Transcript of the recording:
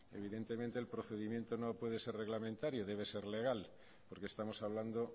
evidentemente el procedimiento no puede ser reglamentario debe ser legal porque estamos hablando